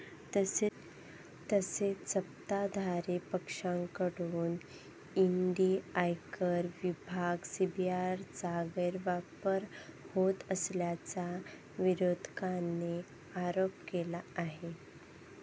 तसेच सत्ताधारी पक्षाकडून ईडी, आयकर विभाग, सीबीआयचा गैरवापर होत असल्याचा विरोधकांनी आरोप केला आहे.